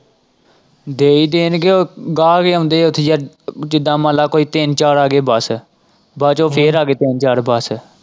ਦੇ ਹੀ ਦੇਣਗੇ ਉਹ ਗਾਹਕ ਹੀ ਆਉਂਦੇ ਹੈ ਉੱਥੇ ਯਾਰ ਜਿਦਾਂ ਮੰਨ ਲੈ ਕੋਈ ਤਿੰਨ ਚਾਰ ਆ ਗਏ ਬਸ ਬਾਅਦ ਚੋਂ ਫਿਰ ਆ ਗਏ ਤਿੰਨ ਚਾਰ ਬਸ।